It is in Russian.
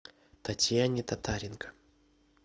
татьяне татаренко